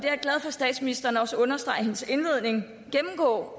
statsministeren også understregede i sin indledning